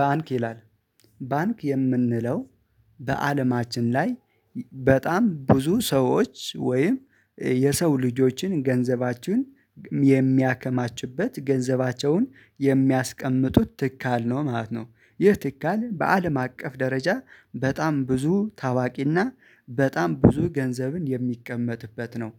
ባንክ ይላል ባንክ የምንለው በአለማችን ላይ በጣም ብዙ ሰዎች ወይም የሰው ልጆችን ገንዘቸዉን የሚያከማችበት ገንዘባቸውን የሚያስቀምጡት ትካል ነው ማለት ነው። ይህ ትካል በአለም አቀፍ ደረጃ በጣም ብዙ ታዋቂና በጣም ብዙ ገንዘብን የሚቀመጥበት ነው።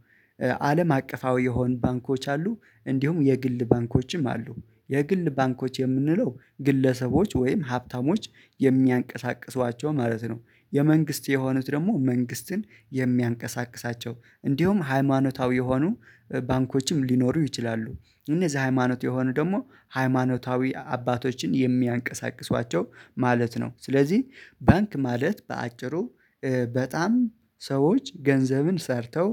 አለም አቀፋዊ የሆን ባንኮች አሉ እንዲሁም የግል ባንኮችም አሉ። የግል ባንኮች የምንለው ግለሰቦች ወይም ሀብታሞች የሚያንቀሳቅሷቸው ማለት ነው። የመንግስት የሆኑት ደግሞ መንግስትን የሚያንቀሳቅሳቸው እንዲሁም ሃይማኖታዊ የሆኑ ባንኮችም ሊኖሩ ይችላሉ። እነዛ ሃይማኖት የሆኑ ደግሞ ሃይማኖታዊ አባቶችን የሚያንቀሳቅሷቸው ማለት ነው። ስለዚህ ባንክ ማለት በአጭሩ በጣም ሰዎች ገንዘብን ሰርተው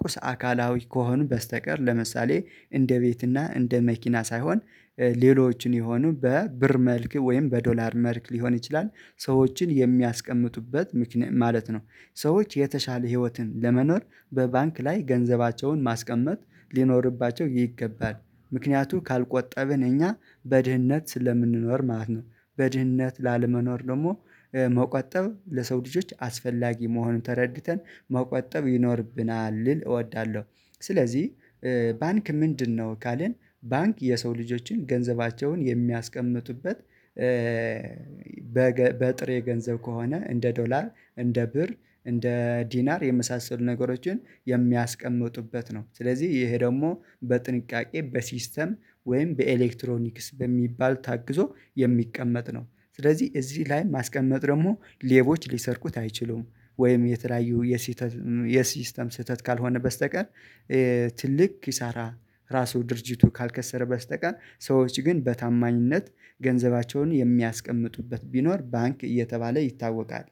ቁስ አካላዊ ከሆኑ በስተቀር ለምሳሌ እንደ ቤት እና እንደ መኪና ሳይሆን ሌሎችን የሆኑ በብር መልክ ወይም በዶላር መልክ ሊሆን ይችላል ሰዎችን የሚያስቀምጡበት ማለት ነው። ሰዎች የተሻለ ህይወትን ለመኖር በባንክ ላይ ገንዘባቸውን ማስቀመጥ ሊኖርባቸው ይገባል ምክንያቱ ካልቆጠብን እኛ በድህነት ስለምንኖር ማለት ነው። በድህነት ላለመኖር ደግሞ መቆጠብ ለሰው ልጆች አስፈላጊ መሆኑን ተረድተን መቆጠብ ይኖርብናል ልል እወዳለሁ። ስለዚህ ባንክ ምንድነው? ካልን ባንክ የሰው ልጆችን ገንዘባቸውን የሚያስቀምጡበት። በጥሬ ገንዘብ ከሆነ እንደ ዶላር እንደ ብር እንደ ዲናር የመሳሰሉ ነገሮችን የሚያስቀምጡበት ነው። ስለዚህ ይሄ ደግሞ በጥንቃቄ በሲስተም ወይም በኤሌክትሮኒክስ በሚባል ታግዞ የሚቀመጥ ነው። ስለዚህ እዚህ ላይ ማስቀመጥ ደግሞ ሌቦች ሊሰርቁት አይችሉም። ወይም የተለያዩ የስተ የሲስተም ስህተት ካልሆነ በስተቀር ትልቅ ኪሳራ ራሱ ድርጅቱ ካልከሰረ በስተቀር ሰዎች ግን በታማኝነት ገንዘባቸውን የሚያስቀምጡበት ቢኖር ባንክ እየተባለ ይታወቃል።